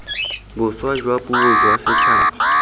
boswa jwa puo jwa setšhaba